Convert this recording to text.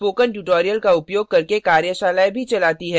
spoken tutorials का उपयोग करके कार्यशालाएँ भी चलाती है